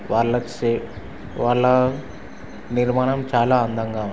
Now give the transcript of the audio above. వాళ్ళ క్షే వాళ్ళ నిర్మాణం చాలా అందంగ ఉంది.